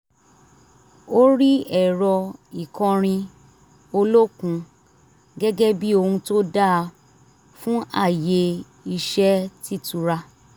ó rí ẹ̀rọ ìkọrin olókun gẹ́gẹ́ bí ohun tó dáa fún àyè iṣẹ́ t'ítura